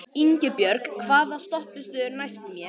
Ingibjörn, hvaða stoppistöð er næst mér?